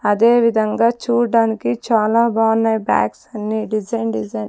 అదేవిధంగా చూడ్డానికి చాలా బావున్నాయ్ బ్యాగ్స్ అన్నీ డిజైన్ డిజైన్ .